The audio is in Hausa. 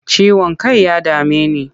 Ciwon kai ya dame ni.